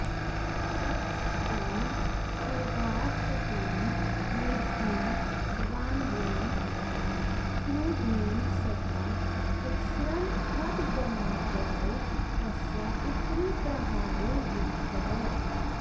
ततस्तेन स्वभावचपलेन मूर्खेण वानरेण क्रुधेन सता तिक्ष्णं खड्गमादाय तस्या उपरि प्रहारो विहितः